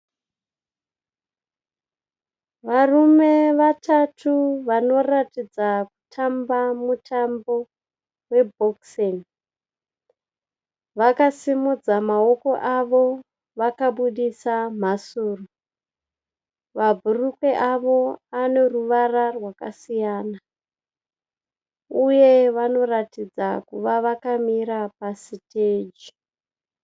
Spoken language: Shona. Varume vatatu vanoratidza kutamba mutambo we boxing. Vakasimudza mawoko avo vakabuditsa mhasuro. Mabhurukwe avo aneruvara rwakasiyana , uye vanoratidza kuve vakamira pasistage.